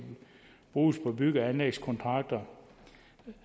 bruges på bygge og anlægskontrakter